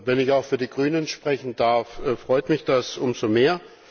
Wenn ich auch für die Grünen sprechen darf, freut mich das umso mehr.